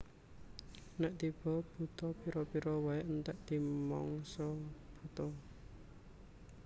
Nèk tiba Buta pira pira waé entèk dimangsa buta